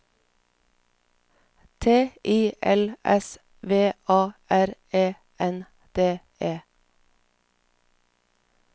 T I L S V A R E N D E